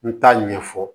N t'a ɲɛfɔ